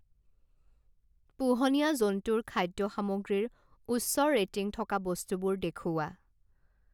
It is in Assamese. পোহনীয়া জন্তুৰ খাদ্য সামগ্ৰীৰ উচ্চ ৰেটিং থকা বস্তুবোৰ দেখুওৱা।